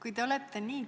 Aitäh!